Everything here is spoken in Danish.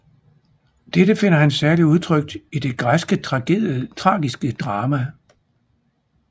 Dette finder han særligt udtrykt i det græske tragiske drama